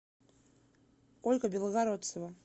ольга белогородцева